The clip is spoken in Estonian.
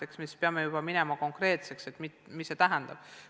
Eks me siis pea juba konkreetseks minema ja ütlema, mis midagi tähendab.